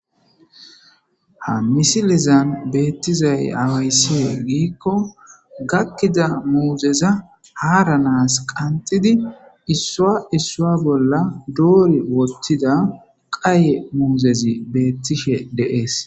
ha misilizan beettizay awayssie giikko gakkida muuzeza haaranaas qantidi issua issua bolla doori wottida qaye muuzezi beettishe deees